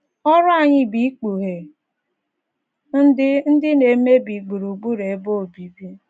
Ọrụ anyị bụ ikpughe ndị ndị na - emebi gburugburu ebe obibi.